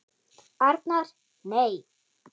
Arnar: Nei.